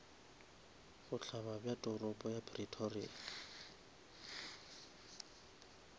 bohlaba bja toropo ya pretoria